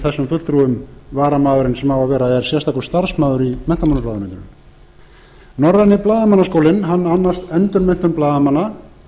af þessum fulltrúum varamaðurinn sem á að vera er sérstakur starfsmaður í menntamálaráðuneytinu norræni blaðamannaskólinn annast endurmenntun blaðamanna